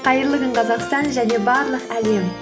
қайырлы күн қазақстан және барлық әлем